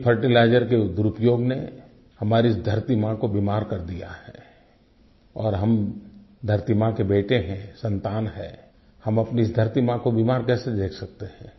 अधिक फर्टिलाइजर के दुरुपयोग ने हमारी धरती माँ को बीमार कर दिया है और हम धरती माँ के बेटे हैं सन्तान हैं हम अपनी धरती माँ को बीमार कैसे देख सकते हैं